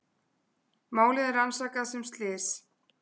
Málið er rannsakað sem slys